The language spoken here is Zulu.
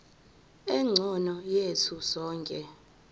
engcono yethu sonke